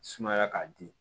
Sumaya k'a di